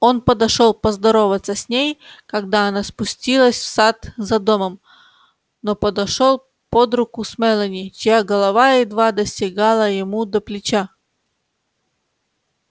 он подошёл поздороваться с ней когда она спустилась в сад за домом но подошёл под руку с мелани чья голова едва достигала ему до плеча